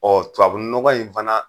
Ɔɔ tubabu nɔgɔ in fana